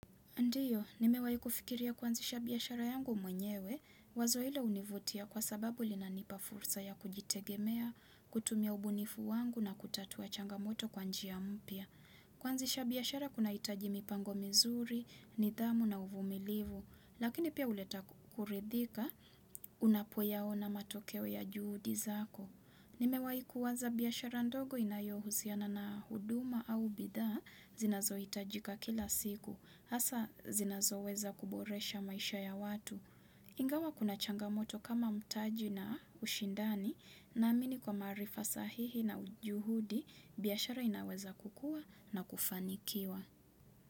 Ndiyo, nimewai fikiria kuanzisha biashara yangu mwenyewe, wazo hilo univutia kwa sababu linanipa fursa ya kujitegemea, kutumia ubunifu wangu na kutatua changamoto kwa njia mpya. Kuanzisha biashara kunahitaji mipango mizuri, nidhamu na uvumilivu, lakini pia huleta kuridhika unapo yaona matokeo ya juhudi zako. Nimewai kuwaza biashara ndogo inayohusiana na huduma au bidha zinazo itajika kila siku, hasa zinazo weza kuboresha maisha ya watu. Ingawa kuna changamoto kama mtaji na ushindani naamini kwa maarifa sahihi na juhudi biashara inaweza kukua na kufanikiwa.